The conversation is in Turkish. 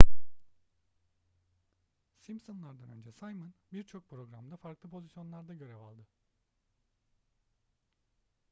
simpsonlar'dan önce simon birçok programda farklı pozisyonlarda görev aldı